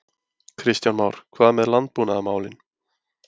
Kristján Már: Hvað með landbúnaðarmálin?